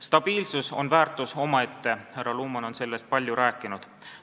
Stabiilsus on väärtus omaette, härra Luman on sellest palju rääkinud.